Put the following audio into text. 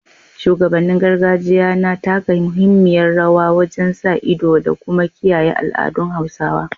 Shugabannin gargajiya na taka muhimmiyar rawa wajen sa ido da kuma kiyaye al’adun Hausawa